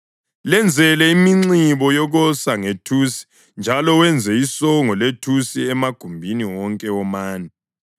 Lenzele iminxibo yokosa ngethusi njalo wenze isongo lethusi emagumbini wonke womane.